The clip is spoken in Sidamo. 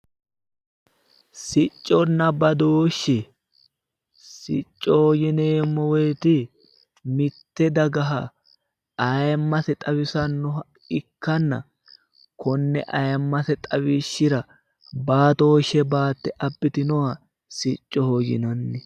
Siconna badooshe Sicoho yineemo woyite mitte dagaha ayimase xawisanoha ikkana kone ayimase xawishira baatoshe baate abbitannoha sicoho yinanni